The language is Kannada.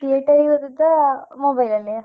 Theatre ಗೆ ಹೋದದ್ದಾ mobile ಅಲ್ಲೆಯಾ?